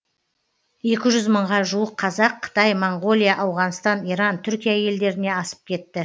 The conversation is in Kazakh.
екі жүз мыңға жуық қазақ қытай моңғолия ауғанстан иран түркия елдеріне асып кетті